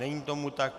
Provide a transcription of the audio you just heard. Není tomu tak.